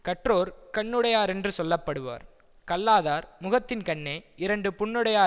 கற்றோர் கண்ணுடையா ரென்று சொல்ல படுவர் கல்லாதார் முகத்தின்கண்ணே இரண்டு புண்ணுடையா